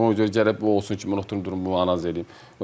Ona görə gərək bu olsun ki, mən oturum durub bunu analiz eləyim.